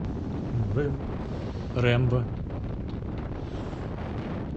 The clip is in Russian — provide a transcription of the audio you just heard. рэмбо